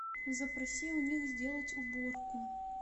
запроси у них сделать уборку